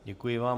Děkuji vám.